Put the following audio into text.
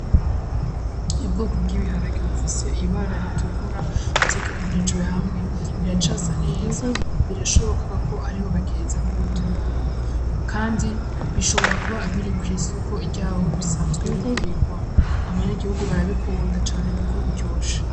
Ibwo kubw'ibiharagiro bifise ibara ritukura vyigeranijwe hamwe biracasa neza birashobokaako ariho bageza kubitunura, kandi bishobora kuba biri kw'isoko ryawe bisanzwe bigurirwa abanyagihugu barabikunda cane, kuko biryoshe.